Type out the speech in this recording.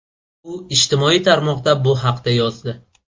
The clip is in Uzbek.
U ijtimoiy tarmoqda bu haqda yozdi.